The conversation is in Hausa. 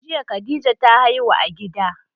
Jiya khadija ta haihu a gida